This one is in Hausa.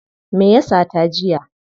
Me ya sata jiya?